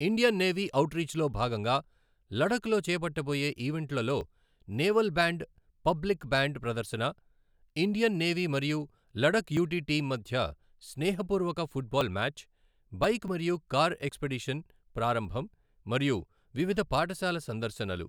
Indian navy ఔట్రీచ్లో భాగంగా లడఖ్లో చేపట్టబోయే ఈవెంట్లలో నేవల్ బ్యాండ్ పబ్లిక్ బ్యాండ్ ప్రదర్శన, ఇండియన్ నేవీ మరియు లడఖ్ యుటి టీమ్ మధ్య స్నేహపూర్వక ఫుట్బాల్ మ్యాచ్, బైక్ మరియు కార్ ఎక్స్పెడిషన్ ప్రారంభం మరియు వివిధ పాఠశాల సందర్శనలు.